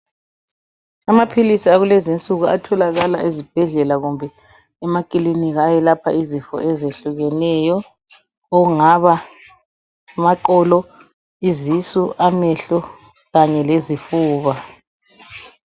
Amaphilizi akulezi insuku atholakala ezibhedlela kumbe emaklinika ayelapha izifo ezehlukeneyo, okungaba amaqolo, izisu, amehlo kanye lezifuba.